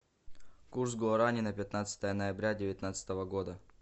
курс гуарани на пятнадцатое ноября девятнадцатого года